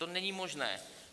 To není možné.